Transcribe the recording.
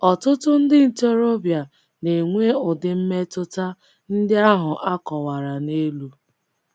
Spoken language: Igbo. Ọtụtụ ndị ntorobịa na - enwe ụdị mmetụta ndị ahụ a a kọwara n’elu.